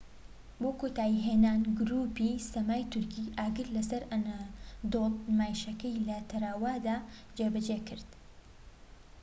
بۆ کۆتایی هێنان گروپی سەمای تورکی ئاگر لە سەر ئەنەدۆڵ نمایشەکەی لە تەروادە جێبەجێکرد